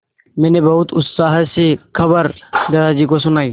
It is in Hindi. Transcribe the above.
मैंने बहुत उत्साह से खबर दादाजी को सुनाई